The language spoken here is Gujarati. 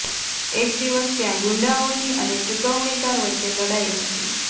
એક દિવસ ત્યાં ગુંડાઓની અને ચુકવણીકાર વચ્ચે લડાઈ હતી